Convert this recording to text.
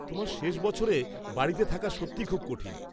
তোমার শেষ বছরে বাড়িতে থাকা সত্যিই খুব কঠিন।